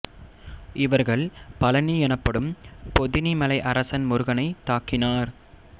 இவர்கள் பழனி எனப்படும் பொதினி மலை அரசன் முருகனைத் தாக்கினர்